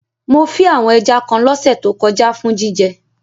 Mo fí àwon ẹja kan lọ́sẹ̀ to kojá for jíjẹ